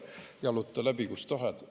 Jaluta läbi, kust tahad.